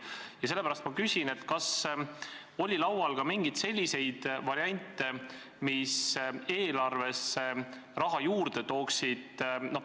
Ja sellepärast ma küsin: kas oli laual ka mingeid selliseid variante, mis eelarvesse raha juurde tooksid?